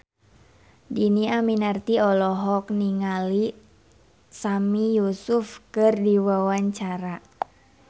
Dhini Aminarti olohok ningali Sami Yusuf keur diwawancara